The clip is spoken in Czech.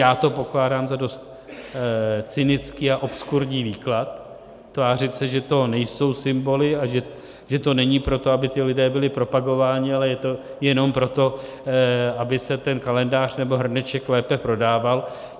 Já to pokládám za dost cynický a obskurní výklad, tvářit se, že to nejsou symboly a že to není proto, aby ti lidé byli propagováni, ale je to jenom proto, aby se ten kalendář nebo hrneček lépe prodával.